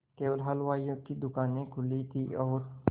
केवल हलवाइयों की दूकानें खुली थी और